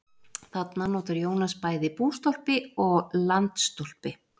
Þarna notar Jónas bæði bústólpi og landstólpi.